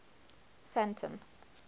sandton